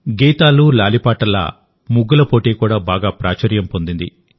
గీతాలు లాలిపాటల్లా ముగ్గుల పోటీ కూడా బాగా ప్రాచుర్యం పొందింది